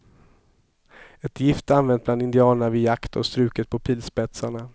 Ett gift använt bland indianerna vid jakt och struket på pilspetsarna.